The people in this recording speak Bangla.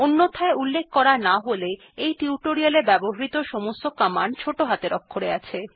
অন্যথায় উল্লেখ করা না থাকলে এই টিউটোরিয়ালটিতে ব্যবহৃত সমস্ত র্নিদেশাবলী ছোট হাতের অক্ষরে আছে